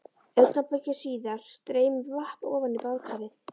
Augnabliki síðar streymir vatn ofan í baðkarið.